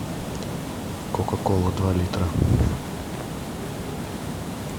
кока кола два литра